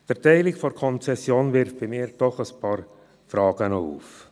Doch wirft die Erteilung dieser Konzession bei mir ein paar Fragen auf.